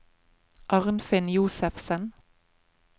Arnfinn Josefsen